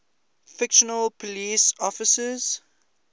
fictional police officers